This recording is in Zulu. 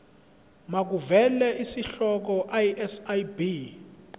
makuvele isihloko isib